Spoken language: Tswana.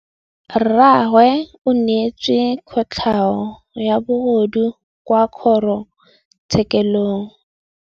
Rragwe o neetswe kotlhaô ya bogodu kwa kgoro tshêkêlông.